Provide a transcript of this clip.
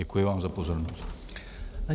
Děkuji vám za pozornost.